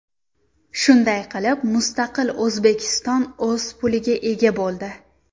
Shunday qilib, mustaqil O‘zbekiston o‘z puliga ega bo‘ldi.